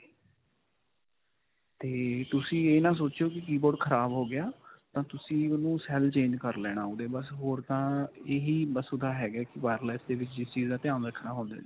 ਤੇ ਤੁਸੀਂ ਇਹ ਨਾ ਸੋਚਿਓ ਕਿ keyboard ਖਰਾਬ ਹੋ ਗਿਆ. ਤਾਂ ਤੁਸੀ ਓਹਨੂੰ cell change ਕਰ ਲੈਣਾ ਓਹਦੇ ਬਸ ਹੋਰ ਤਾਂ ਇਹੀ ਬਸ ਉਸਕਾ ਹੈਗਾ wireless ਦੇ ਵਿੱਚ ਜਿਸ ਚੀਜ਼ ਦਾ ਧਿਆਨ ਰੱਖਣਾ ਹੁੰਦਾ ਹੈ ਜੀ .